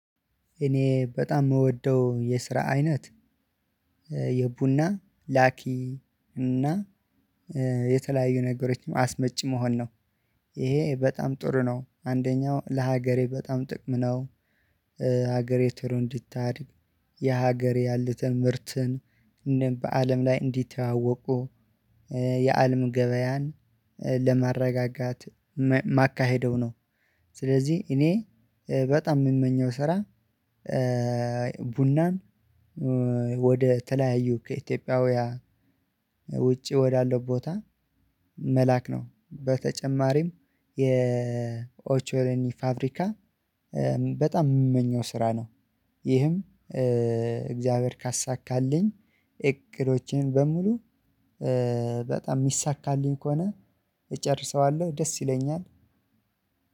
እኔ በጣም የምወደው የስራ አይነት የቡና ላኪ እና የተለያዩ ነገሮች አስመጪ መሆን ነው። ይሄ በጣም ጥሩ ነው አንደኛው ለሀገሬ በጣም ጥቅም ነው። ሀገሬ ቶሎ እንድታድግ የሀገሬ ያሉትን ምርትን እንደን በአለም ላይ እንዲተዋወቁ የአለም ገበያን ለማረጋጋት ማካሄደው ነው። ስለዚህ እኔ በጣም ምመኘው ስራ ቡናን ወደ ተለያዩ ከኢትዮጵያውያን ውጪ ወዳለው ቦታ መላክ ነው በተጨማሪም የኦቾሌኒ ፋብሪካ በጣም ምመኘው ስራ ነው። ይህም እግዚአብሔር ካሳካልኝ እቅዶቼን በሙሉ በጣም ሚሳካልኝ ከሆነ እጨርሰዋለሁ ደስ ይለኛል።